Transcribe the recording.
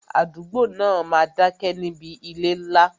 Àdúgbò náà máa dá ké níbi ilé ńlá